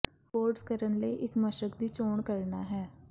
boards ਕਰਨ ਲਈ ਇੱਕ ਮਸ਼ਕ ਦੀ ਚੋਣ ਕਰਨਾ ਹੈ